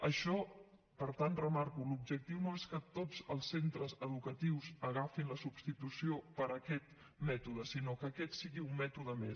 això per tant ho remarco l’objectiu no és que tots els centres educatius agafin la substitució per aquest mètode sinó que aquest sigui un mètode més